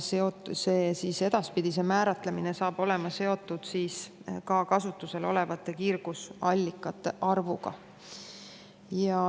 Edaspidi saab see määramine olema seotud ka kasutusel olevate kiirgusallikate arvuga.